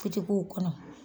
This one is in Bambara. kɔnɔ